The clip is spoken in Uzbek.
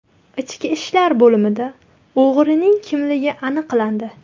Ichki ishlar bo‘limida o‘g‘rining kimligi aniqlandi.